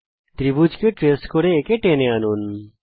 ত্রিভুজকে trace করে একে টেনে আনুন